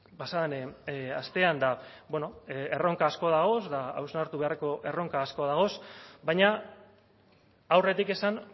pasa den astean eta bueno erronka asko daude eta hausnartu beharreko erronka asko daude baina aurretik esan